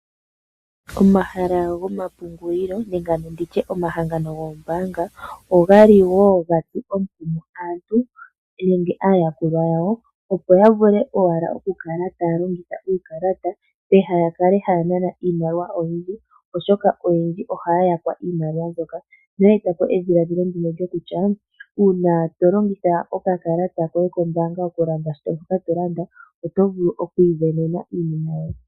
Omahala gomapungulilo nenge ndi tye omahangano goombaanga oga li wo ga tsu omukumo aantu nenge aayakulwa yawo, opo ya vule owala okukala taya longitha uukalata pehala ya kale haya nana iimaliwa oyindji, oshoka oyendji ohaya yakwa iimaliwa mbyoka noya eta po edhiladhilo ndino lyokutya uuna to longitha okakalata koye kombaanga okulanda shoka to landa oto vulu oku isindanena iinima yoye.